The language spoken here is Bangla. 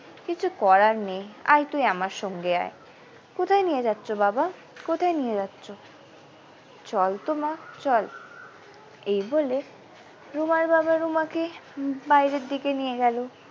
কিছু করার নেই আয় তুই আমার সঙ্গে আয় কোথায় নিয়ে যাচ্ছ বাবা কোথায় নিয়ে যাচ্ছ চল তো মা চল এই বলে রুমার বাবা রুমাকে বাইরের দিকে নিয়ে গেল।